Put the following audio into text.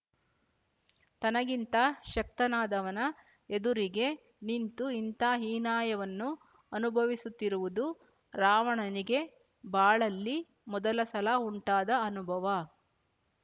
ತನಗಿಂತ ಶಕ್ತನಾದವನ ಎದುರಿಗೆ ನಿಂತು ಇಂಥ ಹೀನಾಯವನ್ನು ಅನುಭವಿಸುತ್ತಿರುವುದು ರಾವಣನಿಗೆ ಬಾಳಲ್ಲಿ ಮೊದಲ ಸಲ ಉಂಟಾದ ಅನುಭವ